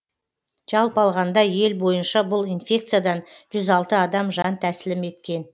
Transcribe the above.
жалпы алғанда ел бойынша бұл инфекциядан жүз алты адам жан тәсілім еткен